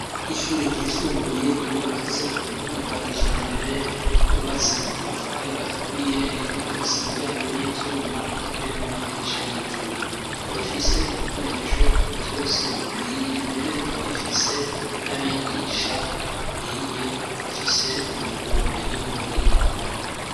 Ishure ryisumbuye ryubakitse ku buhinga bwa kijambere ryubatse mu matafari aturiye rikaba rifise imiryango y'ivyuma eka mbere n'amadirisha y'ivyuma rikaba rifise ibikoresho vyose bikwiye mbere rikaba rifise n'abigisha bakwiye bafise ubumenyi n'ubuhinga.